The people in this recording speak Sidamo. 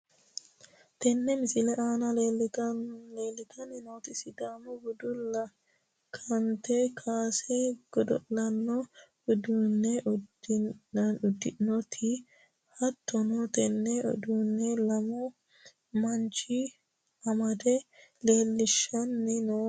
Tini misilete aana leeltanni nooti sidaamu bunu lekkate kaase godo'laano uddidhanno uddanooti. hatto tenne uddano lamu manchi amadde leellishshanni no yaate.